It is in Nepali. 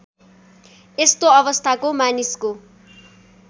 यस्तो अवस्थाको मानिसको